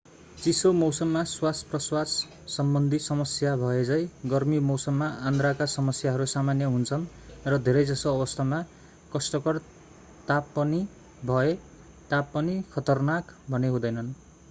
चिसो मौसममा श्वासप्रश्वाससम्बन्धी समस्या भएझैं गर्मी मौसममा आन्द्राका समस्याहरू सामान्य हुन्छन् र धेरै जसो अवस्थामा कष्टकर तापनिभए तापनि खतरनाक भने हुँदैनन्